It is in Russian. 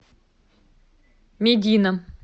медина